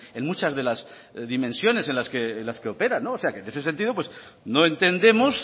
en muchas de las dimensiones en las que operan en ese sentido pues no entendemos